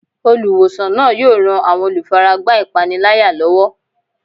Olùwòsàn náà yóò ran àwọn olùfaragbá ìpániláyà lọ́wọ́.